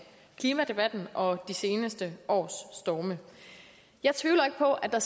klimadebatten og de seneste års storme jeg tvivler ikke på at der